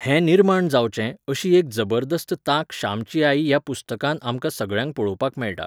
हे निर्माण जावचें अशी एक जबरदस्त तांक श्यामची आई ह्या पुस्तकांत आमकां सगळ्यांक पळोवपाक मेळटा